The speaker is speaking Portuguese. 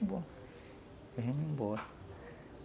embora.